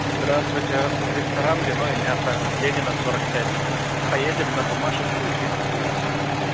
здравствуйте ресторан вино и мясо ленина сорок пять поедем на буммашевскоу тридцать девять